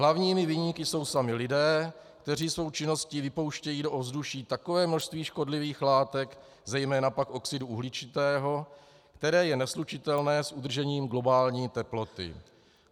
Hlavními viníky jsou sami lidé, kteří svou činností vypouštějí do ovzduší takové množství škodlivých látek, zejména pak oxidu uhličitého, které je neslučitelné s udržením globální teploty.